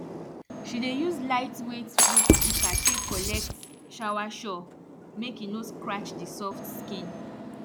she dey use laitweight fruit pika tek collect soursop mek e no scratch di soft skin